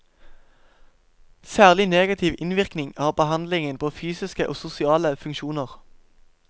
Særlig negativ innvirkning har behandlingen på fysiske og sosiale funksjoner.